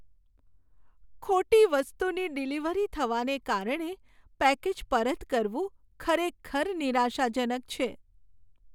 ખોટી વસ્તુની ડિલિવરી થવાને કારણે પેકેજ પરત કરવું ખરેખર નિરાશાજનક છે.